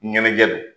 Ɲɛnajɛ don